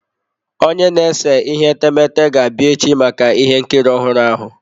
Onye na-ese etemeete ga-abịa echi maka ihe nkiri ọhụrụ ahụ.